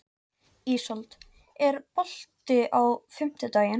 Ísold, er bolti á fimmtudaginn?